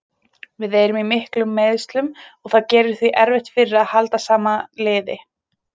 Við erum í miklum meiðslum og það gerir því erfitt fyrir að halda sama liði.